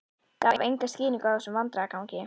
Gaf enga skýringu á þessum vandræðagangi.